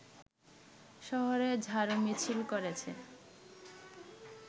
শহরে ঝাড়ুমিছিল করেছে